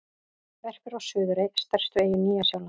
Verpir á Suðurey, stærstu eyju Nýja-Sjálands.